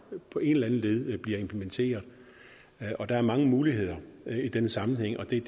på en eller anden led bliver implementeret der er mange muligheder i den sammenhæng og det er